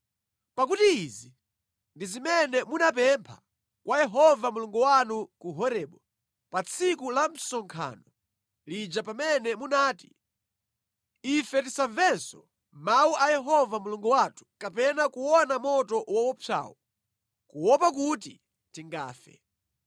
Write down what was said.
Pakuti izi ndi zimene munapempha kwa Yehova Mulungu wanu ku Horebu pa tsiku la msonkhano lija pamene munati, “Ife tisamvenso mawu a Yehova Mulungu wathu kapena kuona moto woopsawu, kuopa kuti tingafe.”